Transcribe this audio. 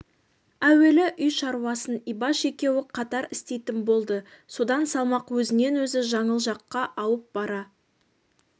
әуелі үй шаруасын ибаш екеуі қатар істейтін болды содан салмақ өзінен өзі жаңыл жаққа ауып бара